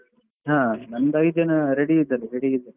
ಹಾ ನಂದು ಐದು ಜನ ready ಇದ್ದಾರೆ ready ಇದ್ದಾರೆ.